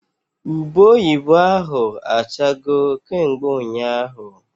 Ube oyibo ahụ achago kemgbe ụnyaahụ